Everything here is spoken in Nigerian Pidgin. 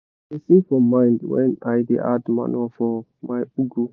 i da sing for mind when i da add manure for my ugu